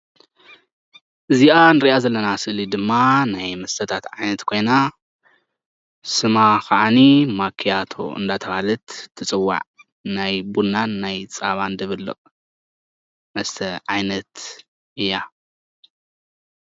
እዚኣ ንሪኣ ዘለና ስእሊ ድማ ናይ መስተታት ዓይነት ኮይና ስማ ኻዓኒ ማክያቶ እንዳተባሃለት ትፅዋዕ ናይ ቡናን ፃባን ድብልቕ መስተ ዓይነት እያ።